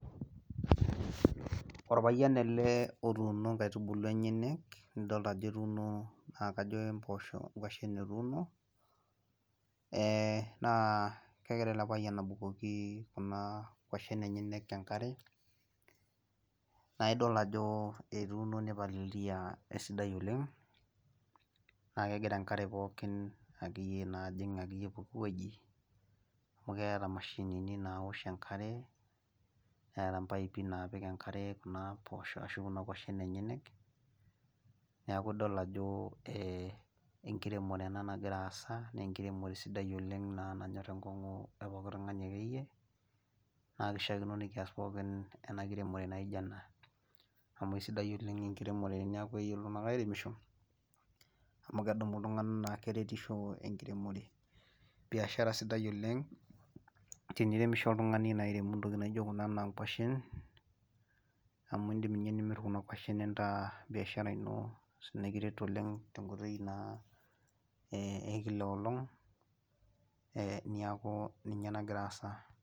Orpayian ele otuuno nkaitubulu enyenak, nidolta ajo etuuno, kajo ke mpoosho onkuashen etuuno, ee naa kegira ele payian abukoki Kuna kwashen enyenyek enkare, naa idol ajo etuuno, naipalilia esidai, oleng naa kegira enkare pookin, akeyie naa ajing, pooki wueji amu meeta imashinini, naosh enkare, neeta mpaipi naapik enkare K kuna poosho ashu kuna kwashen. enyenak, neeku idol ajo enkiremore ena nagira aasa, naa enkiremore sidai oleng nanyor enkongu epooki tungani akeyie, naa kishaakino nikias pookin ena kiremore naijo ena. amu isidai oleng enkiremore teneeku, iltunganak airemosho, amu kesimu iltunganak na keretisho, enkiremore, biashara sidai oleng, teniremisho oltungani airemu ntokitin naijo kuna kwashen amu idim ninye nimir Kuna kwashen nintaas biashara ino nikiret oleng tenkoitoi naa e Kila enkolong' niaku ninye nagira aasa.